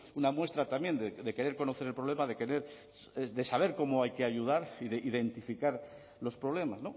una muestra también de querer conocer el problema de querer de saber cómo hay que ayudar y de identificar los problemas